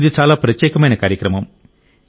ఇది చాలా ప్రత్యేకమైన కార్యక్రమం